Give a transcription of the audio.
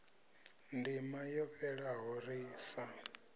ndima yo fhelaho ri sa